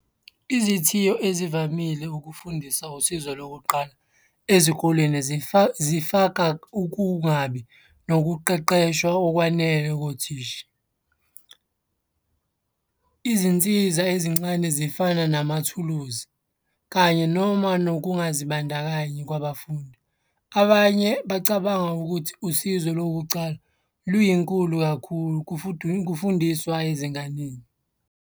Izithiyo ezivamile ukufundisa usizo lokuqala ezikoleni zifaka ukungabi nokuqeqeshwa okwanele kothisha. Izinsiza ezincane zifana namathuluzi kanye noma nokungazibandakanyi kwabafundi. Abanye bacabanga ukuthi usizo lokucala luyinkukhu kakhulu kufundiswa ezinganeni.